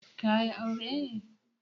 Ka yi aure ne?